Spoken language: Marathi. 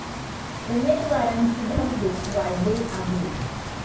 उमेदवारांची धाकधूक वाढली आहे.